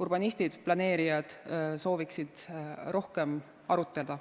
urbanistid, planeerijad, sooviksid rohkem arutada.